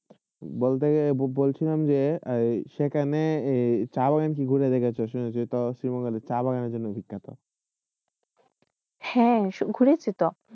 বলশীলম যে সেইখানে সা শাহবাগণের জন্য বিখ্যা হয়ে ঘুরেসেট